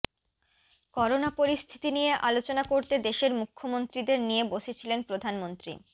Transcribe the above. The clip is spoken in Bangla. করোনা পরিস্থিতি নিয়ে আলোচনা করতে দেশের মুখ্যমন্ত্রীদের নিয়ে বসেছিলেন প্রধানমন্ত্রী